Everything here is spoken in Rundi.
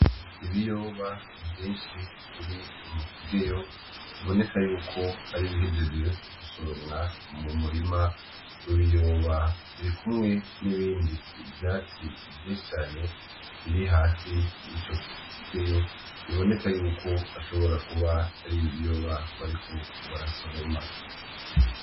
Ibiyoba vyinshi biri mu kigeyo biboneka yuko Ari ibihejeje gusoromwa mu murima w’ibiyoba, birikumwe n’ibindi vyatsi vyinshi cane biri hasi yico kigeyo, biboneka yuko bashobora kuba ari ibiyoba bariko barasoroma.